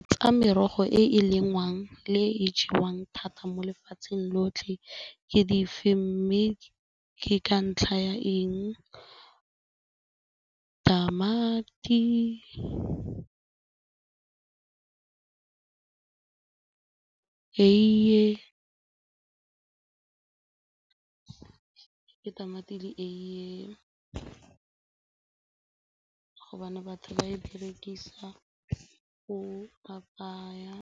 Tsa merogo e e lengwang le e e jewang thata mo lefatsheng lotlhe ke dife mme ke ka ntlha ya eng tamati eiye, ke tamati le eiye ka gobane batho ba e berekisa go apaya.